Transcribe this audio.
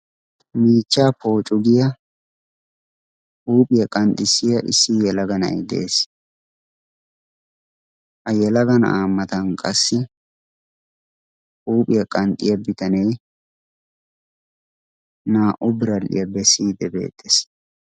Miichchaa pocugiyaa huuphiyaa qanxxissiya issi yyalaga na'ii de'ees. ayyalaga na'aa matan qassi huuphiyaa qanxxiyaa bitanee naa"u biradhiyaa bessiyidde beettees.